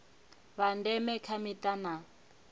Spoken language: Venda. vha ndeme kha mita na